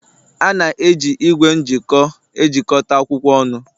A na-eji igwe m'jiko ejikọta akwụkwọ ọnụ